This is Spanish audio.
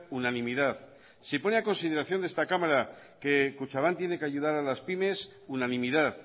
unanimidad si pone a consideración de esta cámara que kutxabank tiene que ayudar a las pymes unanimidad